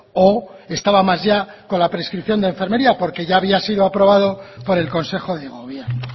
o estaba más ya con la prescripción de enfermería porque ya había sido aprobado por el consejo de gobierno